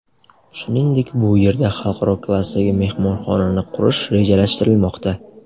Shuningdek bu yerda xalqaro klassdagi mehmonxonani qurish rejalashtirilmoqda.